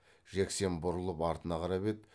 жексен бұрылып артына қарап еді